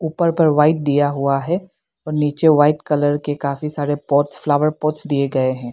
ऊपर ऊपर वाइट दिया हुआ है और नीचे वाइट कलर के काफी सारे पोर्ट्स फ्लावर पॉटस दिए गए हैं।